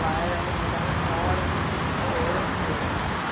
Lá era um lugar enorme, era super amplo.